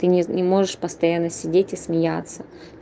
ты не можешь постоянно сидеть и смеяться